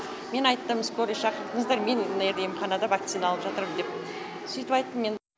мен айттым скорый шақырдыңыздар мен емханада вакцина алып жатырмын деп сөйтіп айттым мен